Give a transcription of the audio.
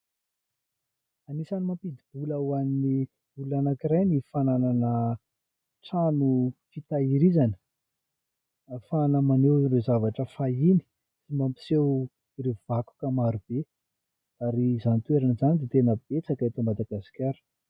Anisany mampidi-bola ho an'ny olona anankiray ny fananana trano fitahirizana, ahafahana maneho ireo zavatra fahiny sy mampiseho ireo vakoka maro be ary izany toerana izany dia tena betsaka eto Madagasikara.